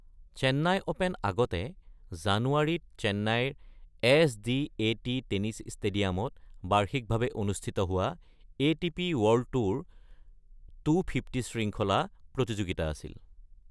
Chennai open আগতে জানুৱাৰীত চেন্নাইৰ এছ.ডি.এ.টি টেনিছ ষ্টেডিয়ামত বাৰ্ষিক ভাৱে অনুষ্ঠিত হোৱা এ.টি.পি ৱৰ্ল্ড টুৰ ২৫০ শৃংখলা প্ৰতিযোগিতা আছিল।